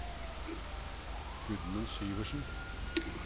Gudmund Syversen